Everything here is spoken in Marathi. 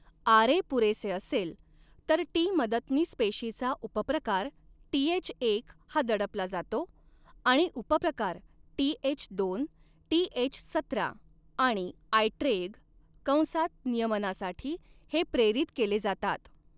आरए पुरेसे असेल, तर टी मदतनीस पेशीचा उपप्रकार टीएचएक हा दडपला जातो आणि उपप्रकार टीएचदोन, टीएच सतरा आणि आयट्रेग कंसात नियमनासाठी हे प्रेरित केले जातात.